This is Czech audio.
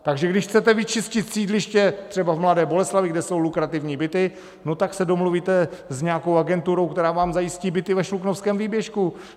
Takže když chcete vyčistit sídliště, třeba v Mladé Boleslavi, kde jsou lukrativní byty, no tak se domluvíte s nějakou agenturou, která vám zajistí byty ve Šluknovském výběžku.